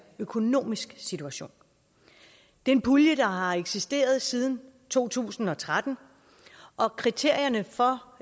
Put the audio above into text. økonomisk situation det er en pulje der har eksisteret siden to tusind og tretten og kriterierne for